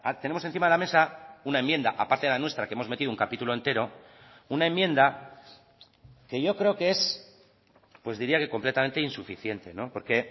tenemos encima de la mesa una enmienda aparte de la nuestra que hemos metido un capítulo entero una enmienda que yo creo que es pues diría que completamente insuficiente porque